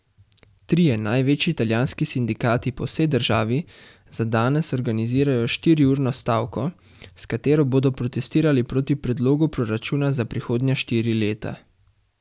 Trije največji italijanski sindikati po vsej državi za danes organizirajo štiriurno stavko, s katero bodo protestirali proti predlogu proračuna za prihodnja štiri leta.